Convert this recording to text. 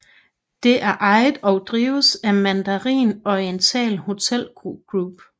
Det er ejet og drives af Mandarin Oriental Hotel Group